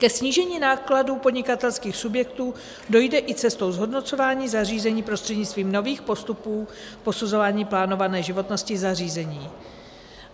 Ke snížení nákladů podnikatelských subjektů dojde i cestou zhodnocování zařízení prostřednictvím nových postupů posuzování plánované životnosti zařízení.